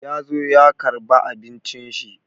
Ya zo ya karba abincin shi.